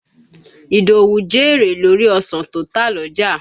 Ìdòwú jèrè lórí ọ̀san tó tà l'ọ́jà.